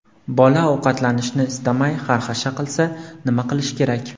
Bola ovqatlanishni istamay xarxasha qilsa, nima qilish kerak?.